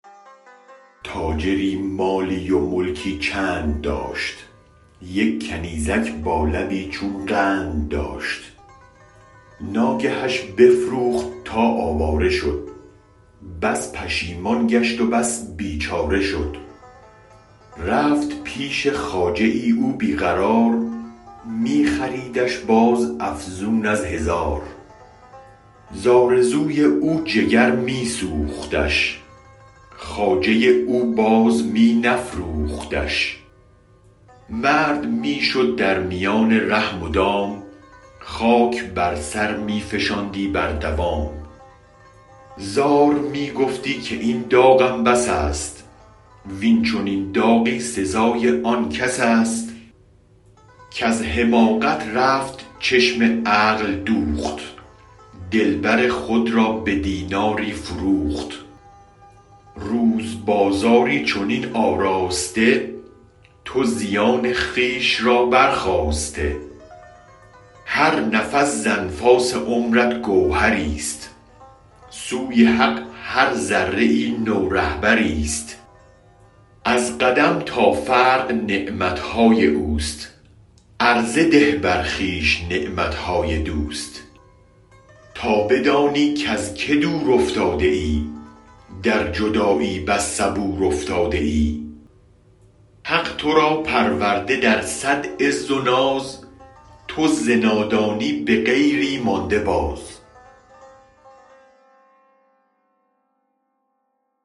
تاجری مالی و ملکی چند داشت یک کنیزک با لبی چون قند داشت ناگهش بفروخت تا آواره شد بس پشیمان گشت و بس بیچاره شد رفت پیش خواجه او بی قرار می خریدش باز افزون از هزار ز آرزوی او جگر می سوختش خواجه او باز می نفروختش مرد می شد در میان ره مدام خاک بر سر می فشاندی بردوام زار می گفتی که این داغم بس است وین چنین داغی سزای آن کس است کز حماقت رفت چشم عقل دوخت دلبر خود را به دیناری فروخت روز بازاری چنین آراسته تو زیان خویش را برخاسته هر نفس ز انفاس عمرت گوهر ی ست سوی حق هر ذره ای نو رهبر ی ست از قدم تا فرق نعمت های اوست عرضه ده بر خویش نعمت های دوست تا بدانی کز که دور افتاده ای در جدایی بس صبور افتاده ای حق تو را پرورده در صد عز و ناز تو ز نادانی به غیری مانده باز